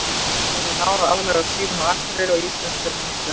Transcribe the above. Ég hef náð að aðlagast lífinu á Akureyri og íslenskri menningu.